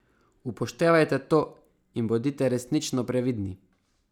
Upoštevajte to in bodite resnično previdni.